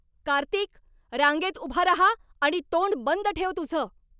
कार्तिक! रांगेत उभा राहा आणि तोंड बंद ठेव तुझं.